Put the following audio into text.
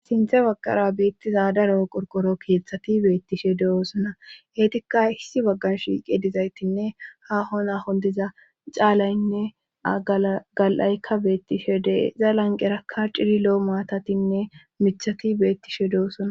Sinthe baqqara beettiza daro qorqoro keeththati beettishe de7oosona eetika issi baggan shiiqe dizaytinne ha ho na hon diza caalaynne aga7aykka beettishe deeza lanqerakka ciri lo7o maatatinne mithati beettishe de7oosona.